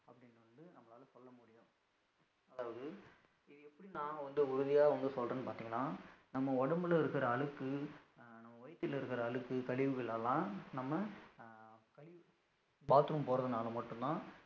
அதாவது இது எப்படி நான் வந்து உறுதியா வந்து சொல்றேன்னு பாத்தீங்கன்னா நம்ம உடம்புல இருக்கிற அழுக்கு வயித்துல இருக்குற அழுக்கு கழிவுகளை எல்லாம் நம்ம அஹ் கழிவு bathroom போறதுனால மட்டும்தான்